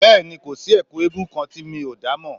Bẹ́ẹ̀ni, kò sí Ẹ̀kú eégún kan tí mi ò dá mọ̀